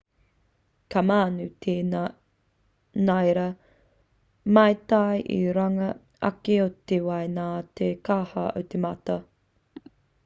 ka mānū te ngira maitai i runga ake o te wai nā te kaha o te mata